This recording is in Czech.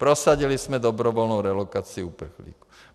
Prosadili jsme dobrovolnou relokaci uprchlíků.